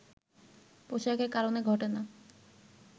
পোশাকের কারণে ঘটে না